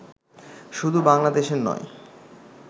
শুধু বাংলাদেশের নয়